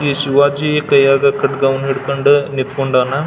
ಈ ಶಿವಾಜಿ ಕೈಯಾಗ್ ಕಡ್ಗ್ ವನ್ನು ಹಿಡಕೊಂಡ್ ನಿಂತ್ಕೊಂಡಾನ್.